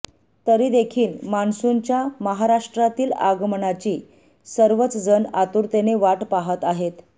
तरी देखील मान्सूनच्या महाराष्ट्रातील आगमनाची सर्वचजण आतुरतेने वाट पाहत आहेत